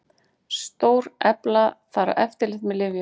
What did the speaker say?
Stórefla þarf eftirlit með lyfjum